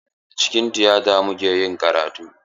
Acikin tiyata muka yi karatu.